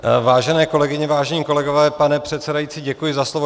Vážené kolegyně, vážení kolegové, pane předsedající, děkuji za slovo.